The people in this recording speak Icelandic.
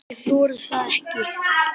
Ég þori það ekki.